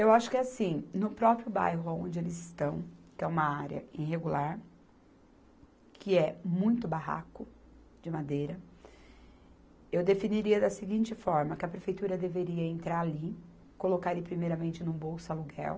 Eu acho que assim, no próprio bairro aonde eles estão, que é uma área irregular, que é muito barraco de madeira, eu definiria da seguinte forma, que a prefeitura deveria entrar ali, colocar ele primeiramente num bolsa aluguel,